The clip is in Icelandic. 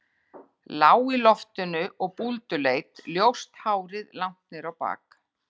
Lág í loftinu og búlduleit, ljóst hárið langt niður á bak.